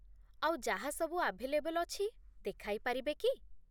ଆଉ ଯାହାସବୁ ଆଭେଲେବଲ୍ ଅଛି, ଦେଖାଇପାରିବେ କି?